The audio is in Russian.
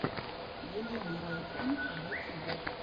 елена райтман в ютюбе